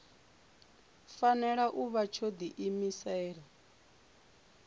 fanela u vha tsho diimisela